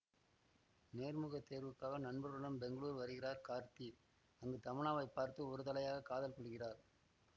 நேர்முகத் தேர்வுக்காக நண்பர்களுடன் பெங்களூர் வருகிறார் கார்த்தி அங்கு தமன்னாவை பார்த்து ஒரு தலையாக காதல் கொள்கிறார்